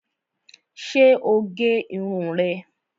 Ṣé o gé irun rẹ̀